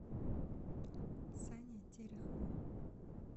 сане терехову